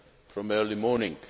from early morning.